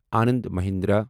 Anand Mahindra